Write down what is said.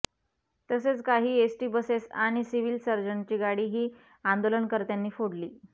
तसेच काही S T buses आणि सिव्हील सर्जनची गाडीही आंदोलनकर्त्यांनी फोडली